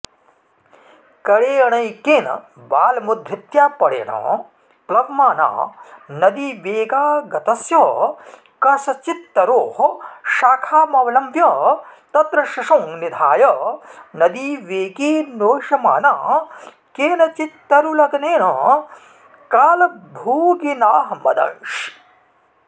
करेणैकेन बालमुद्धृत्यापरेण प्लवमाना नदीवेगागतस्य कस्यचित्तरोः शाखामवलम्ब्य तत्र शिशुं निधाय नदीवेगेनोह्यमाना केनचित्तरुलग्नेन कालभोगिनाहमदंशि